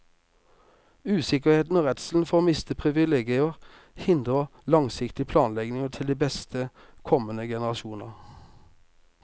Usikkerheten og redselen for å miste privilegier hindrer en langsiktig planlegging til beste for kommende generasjoner.